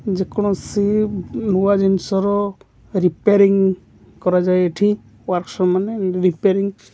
ଯେକୋଣସି ନୂଆ ଜିନିଷର ରିପ୍ୟାରିଙ୍ଗ କରାଯାଏ ଏଠି ୱର୍କସପ ମାନେ ରିପ୍ୟାରିଙ୍ଗ --